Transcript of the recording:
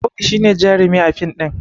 Audu shi ne jarumi a fin ɗin